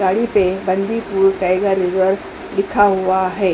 गाड़ी पे Bandipur tiger reserve लिखा हुआ है।